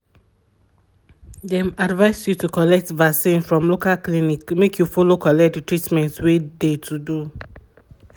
dem advice you to colllect vacinn from local clinic make you follow collect de treatment wey de to do